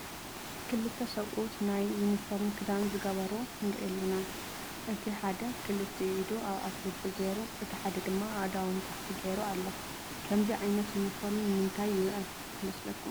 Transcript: ክልተ ሰብኡት ናይ ዩኒሸፎርም ክዳን ዝገበሩ ንሪኢ ኣለና፡፡ እቲ ሓደ ክልቲኡ ኢዱ ኣብ ኣፍ ልቡ ገይሩ፣ እቲ ሓደ ድማ ኣእዳው ንታሕቲ ገይሩ ኣሎ፡፡ ከምዚ ዓይነት ዩኒፎርሚ ንምንታይ ይውዕል ይመስለኩም?